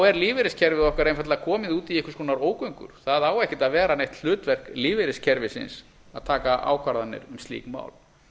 er lífeyriskerfið okkar einfaldlega komið út í einhvers konar ógöngur það á ekkert að vera neitt hlutverk lífeyriskerfisins að taka ákvarðanir um slík mál